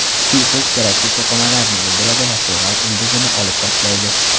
Suyuqlik keraksiz to‘qimalarni o‘ldiradi va so‘gal ildizni olib tashlaydi.